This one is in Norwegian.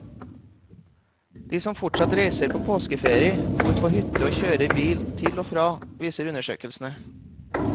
De som fortsatt reiser på påskeferie bor på hytte og kjører bil til og fra, viser undersøkelsen.